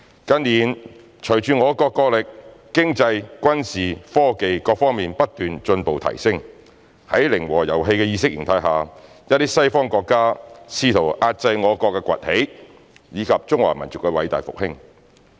近年隨着我國國力、經濟、軍事、科技各方面不斷進步、提升，在零和遊戲的意識形態下，一些西方國家試圖遏制我國崛起，以及中華民族的偉大復興。